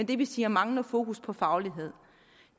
det vil sige manglende fokus på faglighed